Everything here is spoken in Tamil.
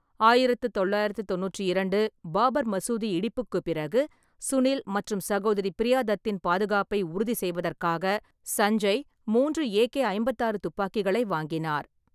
ஆயிரத்து தொள்ளாயிரத்து தொண்ணூற்று இரண்டு பாபர் மசூதி இடிப்புக்குப் பிறகு, சுனில் மற்றும் சகோதரி பிரியா தத்தின் பாதுகாப்பை உறுதி செய்வதற்காக சஞ்சய் மூன்று ஏ.கே-ஐம்பத்தாறு துப்பாக்கிகளை வாங்கினார்.